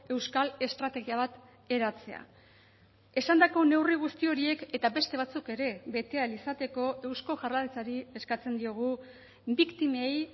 euskal estrategia bat eratzea esandako neurri guzti horiek eta beste batzuk ere bete ahal izateko eusko jaurlaritzari eskatzen diogu biktimei